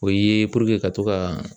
O ye ka to ka